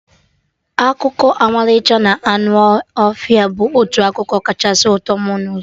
Akụkọ ọmalịcha na anụ ọhịa bụ otu akụkọ kachasị ụtọ mụ nụrụ